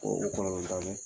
o kɔlɔlɔ ba